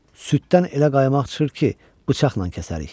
Süddən elə qaymaq çıxır ki, bıçaqla kəsərik.